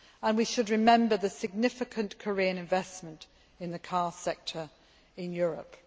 We should remember the significant Korean investment in the car sector in Europe.